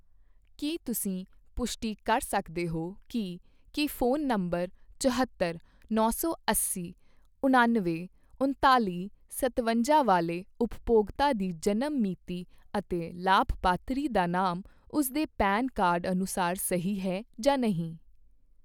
ਕੀ ਤੁਸੀਂ ਪੁਸ਼ਟੀ ਕਰ ਸਕਦੇ ਹੋ ਕੀ ਕੀ ਫੋਨ ਨੰਬਰ ਚੁਹੌਤਰ, ਨੌ ਸੌ ਅੱਸੀ, ਉਣਾਨਵੇਂ, ਉਨਤਾਲੀ, ਸਤਵੰਜਾ ਵਾਲੇ ਉਪਭੋਗਤਾ ਦੀ ਜਨਮ ਮਿਤੀ ਅਤੇ ਲਾਭਪਾਤਰੀ ਦਾ ਨਾਮ ਉਸ ਦੇ ਪੈਨ ਕਾਰਡ ਅਨੁਸਾਰ ਸਹੀ ਹੈ ਜਾਂ ਨਹੀਂ